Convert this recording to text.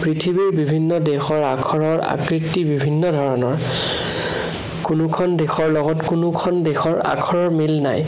পৃথিৱীৰ বিভিন্ন দেশৰ আখৰৰ আকৃতি বিভিন্ন ধৰণৰ। কোনোখন দেশৰ লগত কোনোখন দেশৰ আখৰৰ মিল নাই।